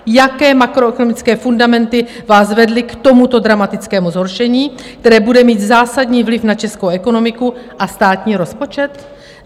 Jaké makroekonomické fundamenty vás vedly k tomuto dramatickému zhoršení, které bude mít zásadní vliv na českou ekonomiku a státní rozpočet?